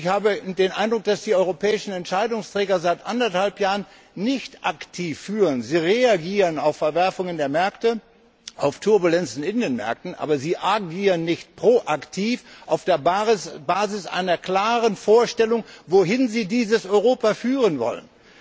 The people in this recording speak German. Ich habe den Eindruck, dass die europäischen Entscheidungsträger seit eineinhalb Jahren nicht aktiv führen. Sie reagieren auf Verwerfungen der Märkte, auf Turbulenzen in den Märkten, aber sie agieren nicht vorausschauend auf der Basis einer klaren Vorstellung, wohin sie dieses Europa führen wollen.